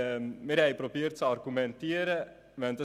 Wir haben zu argumentieren versucht.